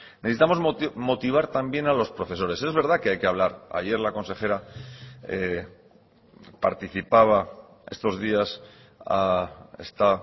necesitamos motivar también a los profesores es verdad que hay que hablar ayer la consejera participaba estos días está